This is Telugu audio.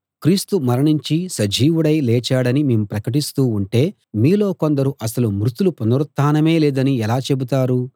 క్రీస్తు మరణించి సజీవుడై లేచాడని మేము ప్రకటిస్తూ ఉంటే మీలో కొందరు అసలు మృతుల పునరుత్థానమే లేదని ఎలా చెబుతారు